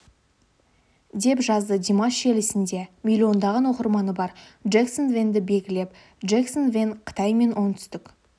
деп жазды димаш желісінде миллион оқырманы бар джэксон вэнді белгілеп джэксон вэн қытай мен оңтүстік